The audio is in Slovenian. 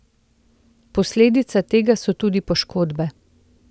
Posledica tega so tudi poškodbe.